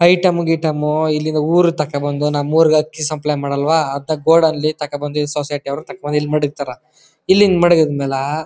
item ಗಿಟಾಂ ಇಲ್ಲಿಂದ ಊರಿಗೆ ತಕೋಬಂದು ನಮ್ಮೂರಿಗೆ ಅಕ್ಕಿ ಸಪ್ಲೈ ಮಾಡಲ್ವಾ ಅತ್ತ ಗೋಡಲ್ಲಿ ತಕೋಬಂದು ಈ ಸೊಸೈಟಿ ಯವರು ತಕೊಂಡು ಇಲ್ಲಿ ಮಡಗ್ತಾರಾ ಇಲ್ಲಿ ಹಿಂಗ್ ಮಡಗಿದ್ ಮ್ಯಾಲ--